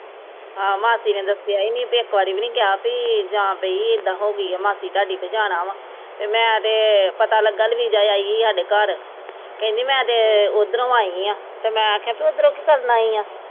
ਆਹੋ ਹਾਂ ਮਾਸੀ ਨੇ ਦੱਸਿਆ ਈ ਨੀ ਇੱਕ ਵਾਰ ਵੀ ਨੀ ਕਿਹਾ ਵੀ ਜਾਂ ਪਈ ਵੀ ਜਾਂ ਇੱਦਾਂ ਹੋ ਗਈ ਏ ਮਾਸੀ ਥਾਉਡੀ ਤੇ ਜਾਣਾ ਵਾਂ ਤੇ ਮੈਂ ਤੇ ਵੱਲ ਵੀ ਜਾ ਆਈ ਸਾਡੇ ਘਰ ਕਹਿੰਦੀ ਮੈਂ ਤੇ ਓਦਰੋ ਆਈ ਆ ਤੇ ਮੈਂ ਕਿਹਾ ਤੂ ਇਦਰੋਂ ਕੀ ਕਰਨ ਆਈ ਐ